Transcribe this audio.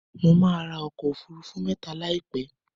Mo máa ra ọkọ̀ òfurufú mẹ́ta láìpẹ́.